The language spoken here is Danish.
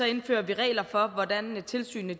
indfører vi regler for hvordan tilsynene